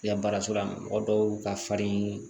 I ka baara sɔrɔla mɔgɔ dɔw ka farin